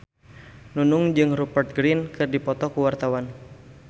Nunung jeung Rupert Grin keur dipoto ku wartawan